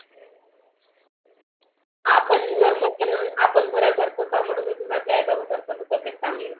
आपण जर म्हटलं ना आपण घरा सारख आपल्या आई बाबा च्या चांगले.